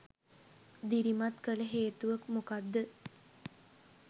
දිරිමත් කළ හේතුව මොකද්ද?